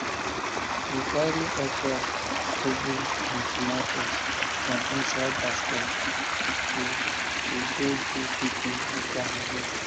we carry okra ugu and tomatoes for inside basket to to go give people after harvest